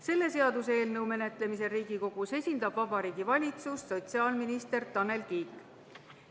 Selle seaduseelnõu menetlemisel Riigikogus esindab Vabariigi Valitsust sotsiaalminister Tanel Kiik.